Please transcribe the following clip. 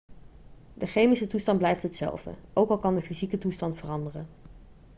de chemische toestand blijft hetzelfde ook al kan de fysieke toestand veranderen